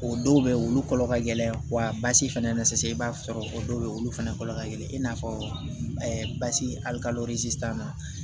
O dɔw bɛ yen olu kɔlɔ ka gɛlɛn wa basi fana na sisan i b'a sɔrɔ o dɔw bɛ yen olu fana kɔlɔn ka gɛlɛn i n'a fɔ basi ali kalo sisan na